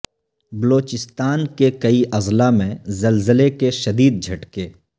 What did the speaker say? بلوچستان کے کئی اضلاع میں زلزلے کے شدید جھٹکے